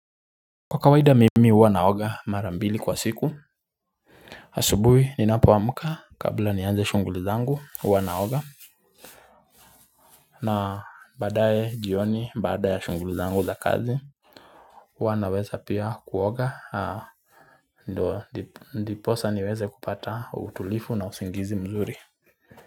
Kwa kawaida mimi huwa naoga marambili kwa siku asubuhi ninapoamka kabla nianze shughuli zangu huwa naoga na baadaye jioni baada ya shughulu zangu za kazi Huwa naweza pia kuoga ndo ndiposa niweze kupata utulivu na usingizi mzuri.